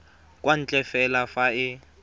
kwa ntle fela fa e